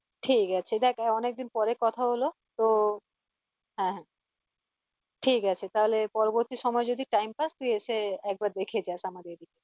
ঠিক আছে দেখ অনেকদিন পরে কথা হলো তো হ্যাঁ হ্যাঁ ঠিক আছে তাহলে পরবর্তী সময়ে যদি time পাস্ তুই এসে একবার দেখে যাস